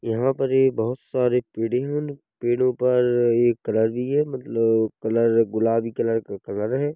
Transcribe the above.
यहाँ पर एक बहोत सारे पेड़े हैं। पेड़ो पर एक रवि है। मतलब कलर गुलाबी कलर का कलर है।